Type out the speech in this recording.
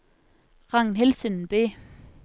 Ragnhild Sundby